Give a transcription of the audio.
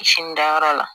Sini dayɔrɔ la